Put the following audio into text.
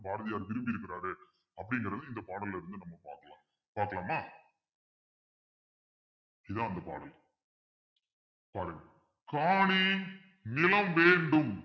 பாரதியார் விரும்பியிருக்கிறாரு அப்படிங்கிறது இந்த பாடல்ல இருந்து நம்ம பார்க்கலாம் பார்க்கலாமா இதான் அந்த பாடல் பாருங்க காணி நிலம் வேண்டும்